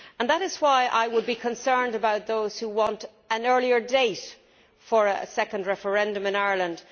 That is why I would be concerned about those who want an earlier date for a second referendum in Ireland.